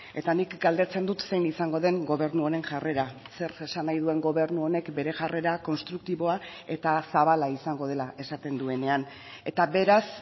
eta nik galdetzen dut zein izango den gobernu honen jarrera zer esan nahi duen gobernu honek bere jarrera konstruktiboa eta zabala izango dela esaten duenean eta beraz